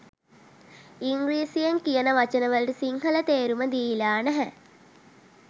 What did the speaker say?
ඉංග්‍රීසියෙන් කියන වචන වලට සිංහල තේරුම දීලා නැහැ